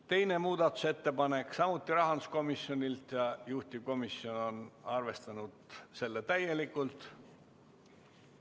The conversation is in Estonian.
Teine muudatusettepanek on samuti rahanduskomisjonilt ja juhtivkomisjon on arvestanud seda täielikult.